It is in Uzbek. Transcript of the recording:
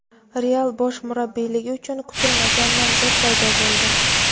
"Real" bosh murabbiyligi uchun kutilmagan nomzod paydo bo‘ldi.